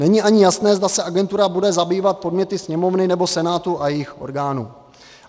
Není ani jasné, zda se agentura bude zabývat podněty Sněmovny nebo Senátu a jejich orgánů.